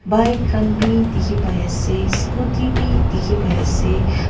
bike khan b dikhi pai ase scooty b dikhi pai ase m--